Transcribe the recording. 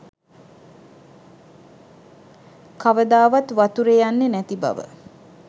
කවදාවත් වතුරෙ යන්නෙ නැති බව.